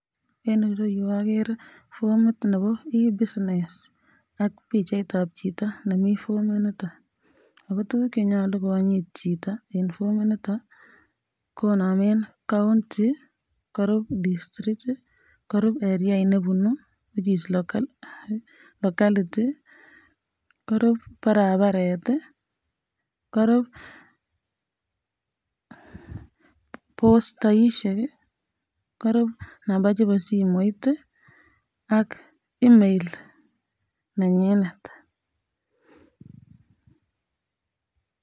En ireyu akere fomit Nebo e-business AK bichait ab Chito nemi fomit niton akotuguk neyoche konyit Chito en formit niton konamen county, korub district, korub eriat nebunu ?korub barabaret korub postaishe AK nambaishe ab simoit ak email nenyinet